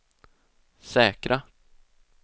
säkra